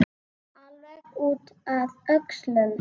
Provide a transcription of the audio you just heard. Alveg út að öxlum!